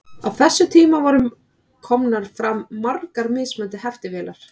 Á þessum tíma voru komnar fram margar mismunandi heftivélar.